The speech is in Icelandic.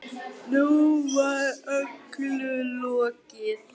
Nú var öllu lokið.